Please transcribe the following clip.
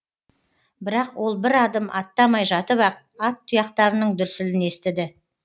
бірақ ол бір адым аттамай жатып ақ ат тұяқтарының дүрсілін естіді